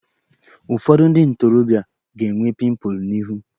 Ụfọdụ ndị ntorobịa ga-enwe pịmpụl n'ihu